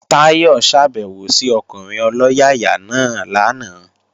Táyọ̀ ṣàbèwò sí ọkùnrin ọlọ́yàyà náà lánàá